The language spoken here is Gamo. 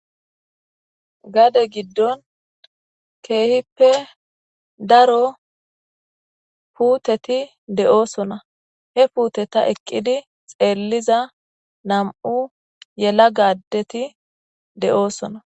gade giddon keehippe daro puuteti de'oosona he puuteta eqqidi xeelliza nam'u yelaga adeti de'oosona